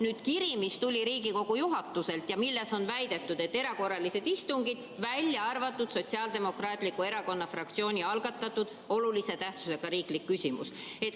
Nüüd on kirjas, mis tuli Riigikogu juhatuselt, väidetud, et on erakorralised istungid, välja arvatud Sotsiaaldemokraatliku Erakonna fraktsiooni algatatud olulise tähtsusega riiklik küsimus.